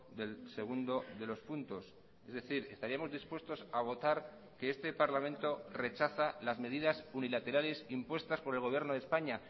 del segundo de los puntos es decir estaríamos dispuestos a votar que este parlamento rechaza las medidas unilaterales impuestas por el gobierno de españa